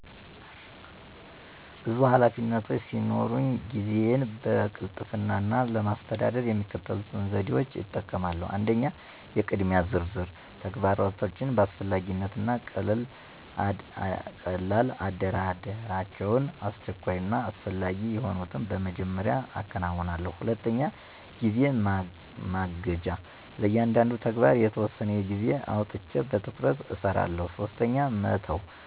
ብዙ ኃላፊነቶች ሲኖሩኝ ጊዜዬን በቅልጥፍና ለማስተዳደር የሚከተሉትን ዘዴዎች እጠቀማለሁ 1. **የቅድሚያ ዝርዝር** - ተግባራቶችን በአስፈላጊነት እና ቀልላ አደራደራቸው፣ አስቸኳይ እና አስፈላጊ የሆኑትን በመጀመሪያ አከናውን። 2. **ጊዜ ማገጃ** - ለእያንዳንዱ ተግባር የተወሰነ ጊዜ አውጥቼ በትኩረት እሰራለሁ። 3. **መተው